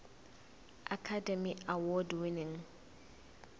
academy award winning